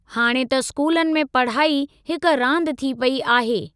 हाणे त स्कूलनि में पढ़ाई हिक रांदि थी पेई आहे।